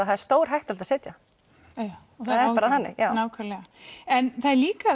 það er stórhættulegt að sitja það er bara þannig en það er líka